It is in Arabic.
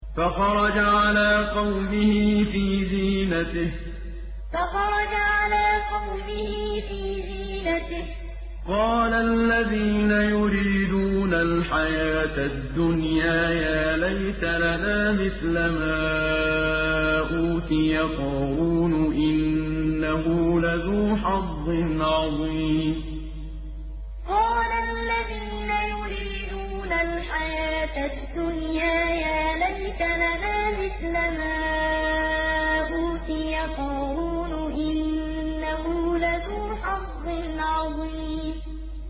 فَخَرَجَ عَلَىٰ قَوْمِهِ فِي زِينَتِهِ ۖ قَالَ الَّذِينَ يُرِيدُونَ الْحَيَاةَ الدُّنْيَا يَا لَيْتَ لَنَا مِثْلَ مَا أُوتِيَ قَارُونُ إِنَّهُ لَذُو حَظٍّ عَظِيمٍ فَخَرَجَ عَلَىٰ قَوْمِهِ فِي زِينَتِهِ ۖ قَالَ الَّذِينَ يُرِيدُونَ الْحَيَاةَ الدُّنْيَا يَا لَيْتَ لَنَا مِثْلَ مَا أُوتِيَ قَارُونُ إِنَّهُ لَذُو حَظٍّ عَظِيمٍ